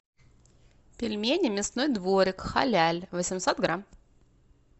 пельмени мясной дворик халяль восемьсот грамм